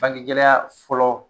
Bange gɛlɛya fɔlɔ